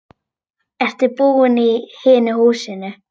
Ertu búinn í hinu húsinu?